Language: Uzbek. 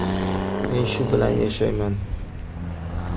Men shu bilan yashayman.